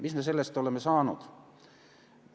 Mis me sellest oleme saanud?